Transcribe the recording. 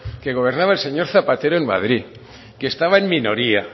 que gobernaba el señor zapatero en madrid que estaba en minoría